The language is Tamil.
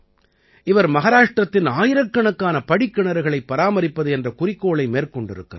இவர் மஹாராஷ்டிரத்தின் ஆயிரக்கணக்கான படிக்கிணறுகளைப் பராமரிப்பது என்ற குறிக்கோளை மேற்கொண்டிருக்கிறார்